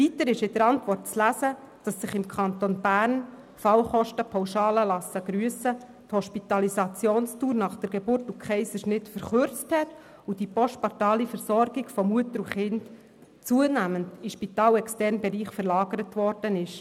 Weiter ist in der Antwort zu lesen, dass sich im Kanton Bern – die Fallkostenpauschalen lassen grüssen – die Hospitalisationsdauer nach Geburt und Kaiserschnitt verkürzt hat und die postnatale Versorgung von Mutter und Kind zunehmend in den spitalexternen Bereich verlagert worden ist.